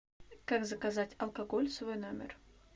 как заказать алкоголь в свой номер